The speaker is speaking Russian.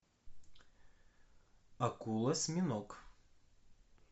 акулосьминог